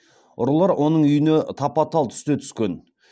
ұрылар оның үйіне тапа тал түсте түскен